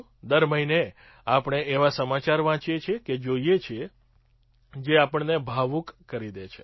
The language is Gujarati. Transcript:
દર મહિને આપણે એવા સમાચાર વાંચીએ અને જોઈએ છીએ જે આપણને ભાવુક કરી દે છે